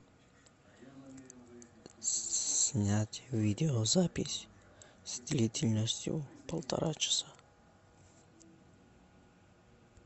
снять видеозапись с длительностью полтора часа